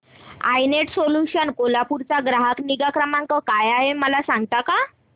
I net solutions Kolhapur चा ग्राहक निगा क्रमांक काय आहे मला सांगता का